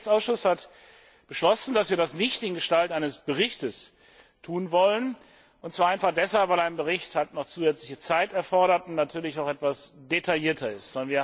Der Rechtsausschuss hat beschlossen, dass wir das nicht in Gestalt eines Berichts tun wollen, und zwar einfach deshalb, weil ein Bericht noch zusätzliche Zeit erfordert und natürlich auch etwas detaillierter ist.